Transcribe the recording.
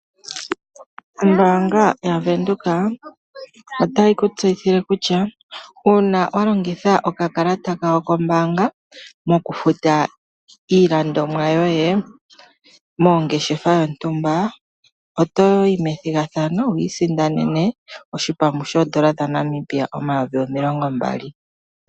Ombaanga yaVenduka otayi ku tseyithile kutya uuna wa longitha okakalata kawo kombaanga mokufuta iilandomwa yoye mongeshefa yontumba oto yi methigathano wi isindanene hipambu shooN$ 20 000.